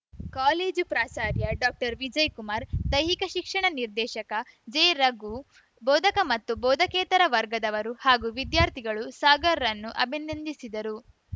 college ಪ್ರಾಚಾರ್ಯ ಡಾಕ್ಟರ್ವಿಜಯಕುಮಾರ್‌ ದೈಹಿಕ ಶಿಕ್ಷಣ ನಿರ್ದೇಶಕ ಜೆರಘು ಬೋಧಕ ಮತ್ತು ಬೋಧಕೇತರ ವರ್ಗದವರು ಹಾಗೂ ವಿದ್ಯಾರ್ಥಿಗಳು ಸಾಗರ್‌ರನ್ನು ಅಭಿನಂದಿಸಿದರು